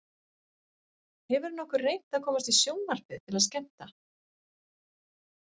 Hefurðu nokkuð reynt að komast í sjónvarpið til að skemmta?